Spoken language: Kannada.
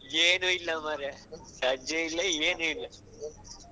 ಏನೂ ಇಲ್ಲ ಮಾರೆ ರೆಜೆ ಇಲ್ಲ ಏನೂ ಇಲ್ಲ.